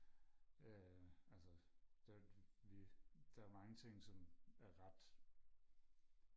øh altså da vi der er mange ting som er ret